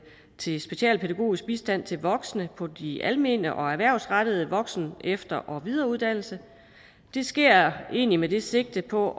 til specialpædagogisk bistand til voksne på de almene og erhvervsrettede voksen efter og videreuddannelser det sker egentlig med et sigte på